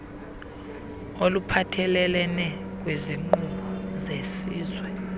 oluphathelelene kwiinkqubo zesizwe